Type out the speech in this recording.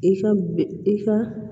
I ka i ka